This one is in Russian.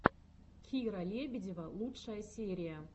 кира лебедева лучшая серия